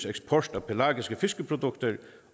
eksport af pelagiske fiskeprodukter